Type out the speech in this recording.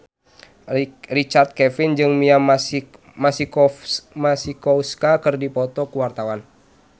Richard Kevin jeung Mia Masikowska keur dipoto ku wartawan